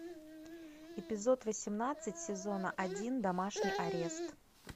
эпизод восемнадцать сезона один домашний арест